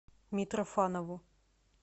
митрофанову